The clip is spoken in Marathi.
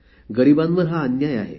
गरीबांवर हा अन्याय आहे